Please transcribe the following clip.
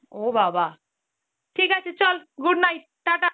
ও বাবাঃ, ঠিক আছে চল good night, ta ta